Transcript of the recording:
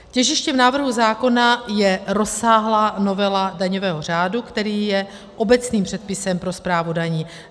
Těžištěm návrhu zákona je rozsáhlá novela daňového řádu, který je obecným předpisem pro správu daní.